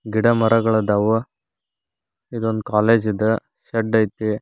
ಗಿಡ ಮರಗಳ ಅದವು ಇದೊಂದು ಕಾಲೇಜು ಇದ್ ಶೆಡ್ ಐತಿ.